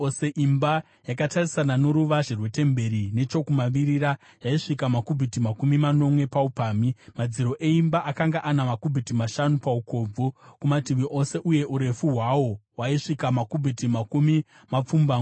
Imba yakatarisana noruvazhe rwetemberi nechokumavirira yaisvika makubhiti makumi manomwe paupamhi. Madziro eimba akanga ana makubhiti mashanu paukobvu kumativi ose, uye urefu hwawo hwaisvika makubhiti makumi mapfumbamwe.